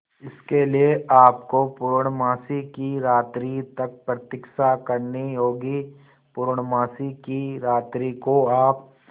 इसके लिए आपको पूर्णमासी की रात्रि तक प्रतीक्षा करनी होगी पूर्णमासी की रात्रि को आप